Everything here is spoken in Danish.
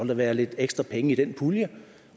der være lidt ekstra penge i den pulje